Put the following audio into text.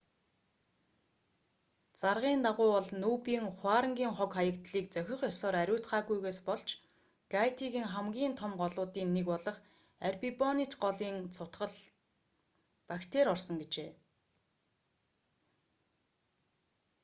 заргын дагуу бол нүб-ын хуарангийн хог хаягдлыг зохих ёсоор ариутгаагүйгээс болж гайтигийн хамгийн том голуудын нэг болох арбибонит голын цутгаланд бактери орсон гэжээ